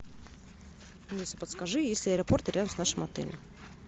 алиса подскажи есть ли аэропорт рядом с нашим отелем